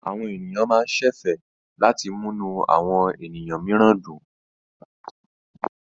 Àwọn ènìyàn máa ń ṣẹ̀fẹ̀ láti múnú àwọn ènìyàn mìíràn dùn.